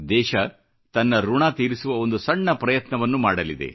ದೇಶ ತನ್ನ ಋಣ ತೀರಿಸುವ ಒಂದು ಸಣ್ಣ ಪ್ರಯತ್ನವನ್ನು ಮಾಡಲಿದೆ